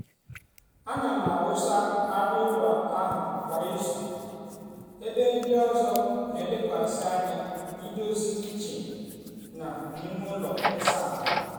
ana m awụsa arịa ụlọ ahụ kwa izu ebe ndị ọzọ na-elekwasị anya na ndozi kichin na ime ụlọ ịsa ahụ.